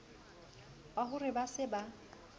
wa ho re ba se